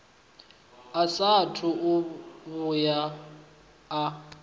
a saathu u vhuya a